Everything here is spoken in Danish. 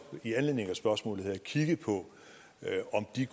i anledning af spørgsmålet her kigget på